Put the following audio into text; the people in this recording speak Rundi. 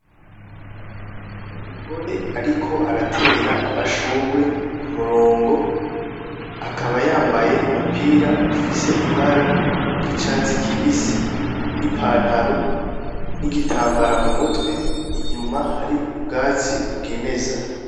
N'umugore ariko aratera amashurwe ku murongo, akaba yambaye umupira ufise ibara ry'icatsi kibisi, n'ipantaro, n'igitambara mu mutwe, inyuma hari ubwatsi bwimeza.